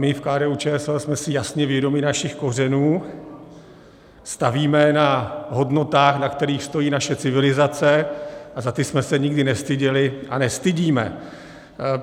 My v KDU-ČSL jsme si jasně vědomi našich kořenů, stavíme na hodnotách, na kterých stojí naše civilizace, a za ty jsme se nikdy nestyděli a nestydíme.